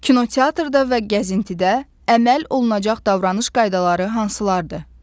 Kinoteatrda və gəzintidə əməl olunacaq davranış qaydaları hansılardır?